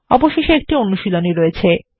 অবশেষে একটি অনুশীলনী রয়েছে